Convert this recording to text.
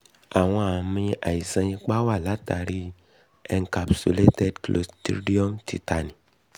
àwọn àmì àìsàn ipá wá látàrí i encapsulated um cloristridium tetani